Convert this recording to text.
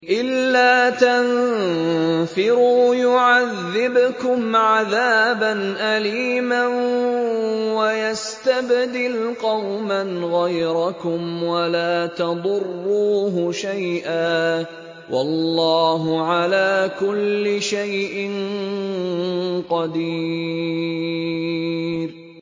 إِلَّا تَنفِرُوا يُعَذِّبْكُمْ عَذَابًا أَلِيمًا وَيَسْتَبْدِلْ قَوْمًا غَيْرَكُمْ وَلَا تَضُرُّوهُ شَيْئًا ۗ وَاللَّهُ عَلَىٰ كُلِّ شَيْءٍ قَدِيرٌ